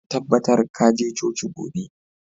Ka tabbatar ka je coci gobe!